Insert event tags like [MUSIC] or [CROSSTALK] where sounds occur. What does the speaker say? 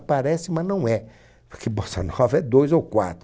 Parece, mas não é. Porque Bossa [LAUGHS] Nova é dois ou quatro.